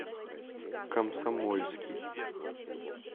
комсомольский